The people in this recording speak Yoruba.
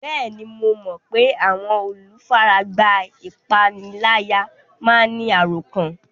Bẹ́ẹ̀ni, mo mọ pé àwọn olùfaragbá ìpániláyà máa ń ní àròkán